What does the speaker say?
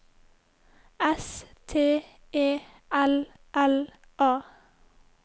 S T E L L A